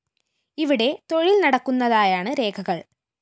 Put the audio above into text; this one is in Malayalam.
ഇവിടെ തൊഴില്‍ നടക്കുന്നതായാണ് രേഖകള്‍